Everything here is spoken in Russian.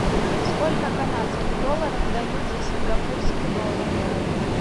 сколько канадских долларов дают за сингапурский доллар